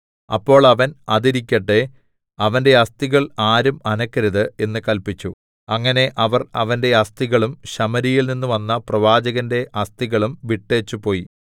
അപ്പോൾ അവൻ അതിരിക്കട്ടെ അവന്റെ അസ്ഥികൾ ആരും അനക്കരുത് എന്ന് കല്പിച്ചു അങ്ങനെ അവർ അവന്റെ അസ്ഥികളും ശമര്യയിൽനിന്ന് വന്ന പ്രവാചകന്റെ അസ്ഥികളും വിട്ടേച്ചു പോയി